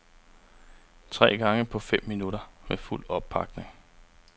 Tre gange på fem minutter med fuld oppakning.